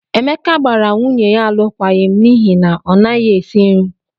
Emeka gbara nwunye ya alụkwaghịm n'ihi na ọ naghị esi nri.